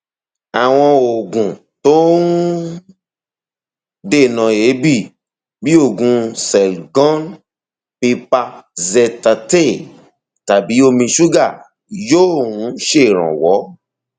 àwọn oògùn tó ń dènà èébì bí oògùn selgon pipazethate tàbí omi ṣúgà yóò um ṣèrànwọ